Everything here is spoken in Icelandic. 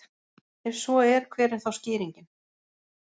ef svo er hver er þá skýringin